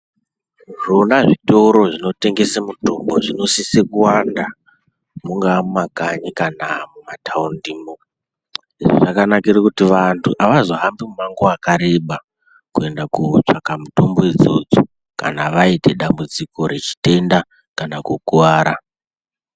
Zvona zvitora zvinotengese mitombo zvinosisa kuwanda mungaa mumakanyi kana mumataundimo zvakanakire kuti vantu avazohambi mumango wakareba kuenda kotsvaga mitombo idzodzo kana vaite dambudziko rechitenda kana kukuwara.